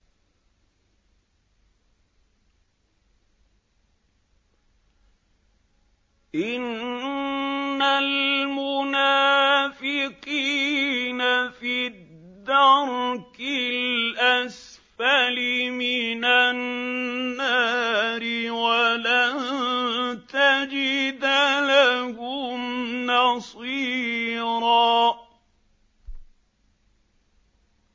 إِنَّ الْمُنَافِقِينَ فِي الدَّرْكِ الْأَسْفَلِ مِنَ النَّارِ وَلَن تَجِدَ لَهُمْ نَصِيرًا